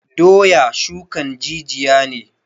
Doya shukan jijiya ne